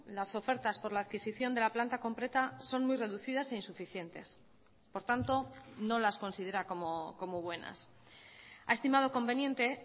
las ofertas por la adquisición de la planta completa son muy reducidas e insuficientes por tanto no las considera como buenas ha estimado conveniente